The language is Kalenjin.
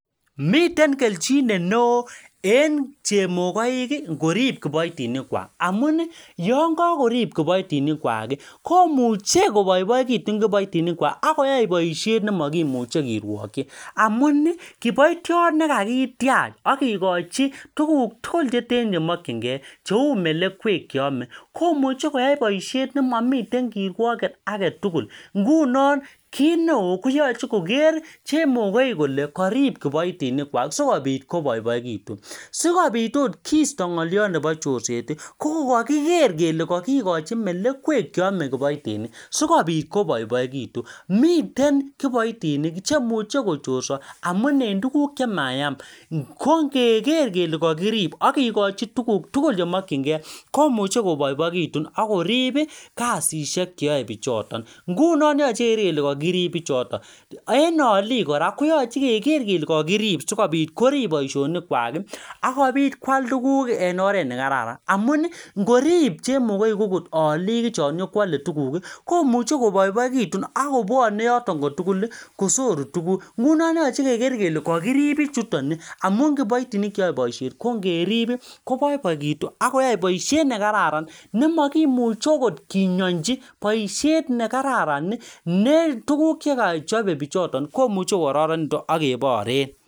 Miten kelchinet neoo en chemokoiki ngorib kiboitinikwak ngapi Yoon kokorib kiboitinikwaki komuche koboiboikitun kiboitinikwak akoyai boishet nemokimuche kirwokyi amunii kiboitiot nekakitiach akokiokochi tuguk tugul cheten chemokyinkee cheu melekwek cheome komuche koyai boishet nemomiten kirwoket agetugul ngunon kit neeo koyoche koker chemokoiki kole korib kiboitinikwak sikopit koboiboikitun sikopit oot kisto ngoliot nepo chorseti kokokiker kele kokikochi melekwek cheome kiboitinik sikopit koboiboikitun miten kiboitinik chemuche kochorso amun en tuguk chemayam ko nge ker kele kakirib akikochi tuguk tugul chemokyinkee komuche koboiboikitun akoribi kasishek cheyoe bichoto ngunon yoche keker kele kakirib bichoto en olik kora koyoche keker kele kakirib sikopit korib boishonikwaki akobit kwal tuguk en oret nekararan amuni ngorib chemokoik akot olik chon inyokwole tuguki komuche koboiboikitun akobwone yoton kotuguli kosoru tuguk ngunon yoche keker kele kakirib bichutoni amun kiboitinik cheyoe boisheti kongeribi koboiboikitun akoyoe boishet nekararan nemokimuche akot kinyonchi boishet nekararani ne tuguk chekochope bichutoni komuche kokororonekitun akeboren